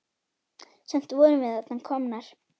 Samt vorum við þarna komnar.